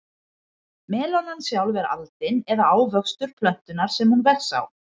Melónan sjálf er aldin eða ávöxtur plöntunnar sem hún vex á.